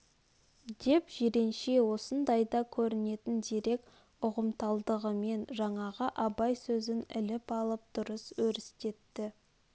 деп жиренше осындайда көрнетін зерек ұғымталдығымен жаңағы абай сөзін іліп алып дұрыс өрістетті